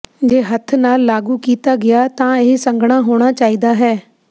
ਜੇ ਹੱਥ ਨਾਲ ਲਾਗੂ ਕੀਤਾ ਗਿਆ ਤਾਂ ਇਹ ਸੰਘਣਾ ਹੋਣਾ ਚਾਹੀਦਾ ਹੈ